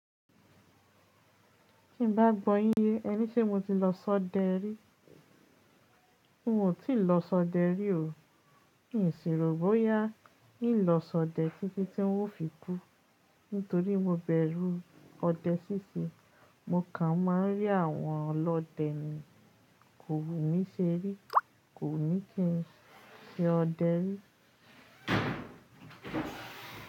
Tí n bá gbọ́ yín yé ẹ ní ṣe mo ti lọ sọdẹ rí? N o ti lọ sọdẹ rí o. N ò sírò bóyá ní lọ sọdẹ títí tí n ó fi kú. Nítorí mo bẹ̀rù ọdẹ síṣẹ́. Mo kàn máa ń rí àwọn ọlọdẹ ni. Kò wumí ṣerí, kò wumi kín ṣe ọdẹ rí.